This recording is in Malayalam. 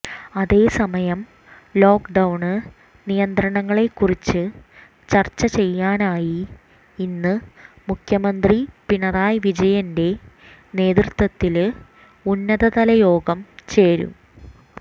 അതേസമയം ലോക്ക്ഡൌണ് നിയന്ത്രണങ്ങളെക്കുറിച്ച് ചര്ച്ച ചെയ്യാനായി ഇന്ന് മുഖ്യമന്ത്രി പിണറായി വിജയന്റെ നേതൃത്വത്തില് ഉന്നതതല യോഗം ചേരും